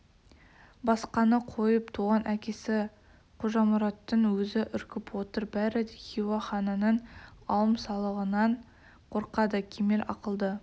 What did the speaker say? басқаны қойып туған әкесі қожамұраттың өзі үркіп отыр бәрі де хиуа ханының алым-салығынан қорқады кемел ақылды